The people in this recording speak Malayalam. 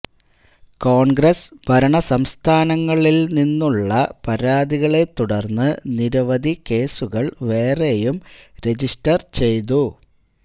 കോണ്ഗ്രസ്സ് ഭരണ സംസ്ഥാനങ്ങളില് നിന്നുള്ള പരാതികളെത്തുടര്ന്ന് നിരവധി കേസുകള് വേറെയും രജിസ്റ്റര് ചെയ്തു